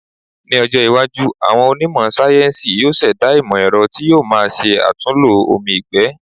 Ní ọjọ́ iwájú, àwọn onímọ̀ sáyéńsì yóò ṣẹ̀dá ìmọ̀-ẹ̀rọ tí yóò má ṣe àlòtúnlò omi ìgbẹ́.